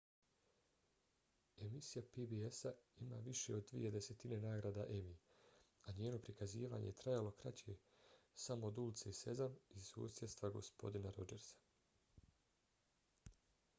emisija pbs-a ima više od dvije desetine nagrada emmy a njeno prikazivanje je trajalo kraće samo od ulice sezam i susjedstva gospodina rodžersa